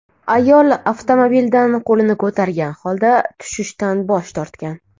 Ayol avtomobildan qo‘lini ko‘targan holda tushishdan bosh tortgan.